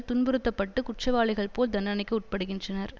துன்புறுத்தப்பட்டு குற்றவாளிகள் போல் தண்டனைக்கு உட்படுகின்றனர்